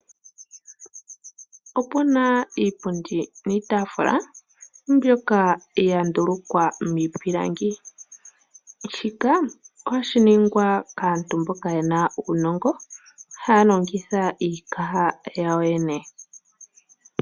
Opu na iipundi niitaafula mbyono ya ndulukwa miipilangi. Shika oha shi ningwa kaantu mboka ye na uunongo , haa longitha iikaha yawo yene.